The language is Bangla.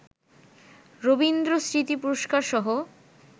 রবীন্দ্রস্মৃতি পুরস্কারসহ